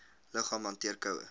liggaam hanteer koue